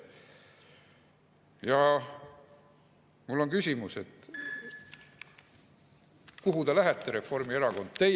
Ja mul on küsimus: kuhu te lähete, Reformierakond?